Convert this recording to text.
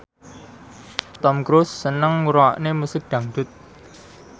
Tom Cruise seneng ngrungokne musik dangdut